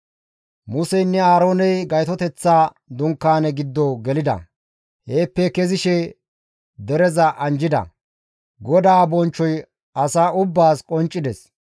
Museynne Aarooney Gaytoteththa Dunkaane giddo gelida; heeppe kezishe dereza anjjida; GODAA bonchchoy asa ubbaas qonccides.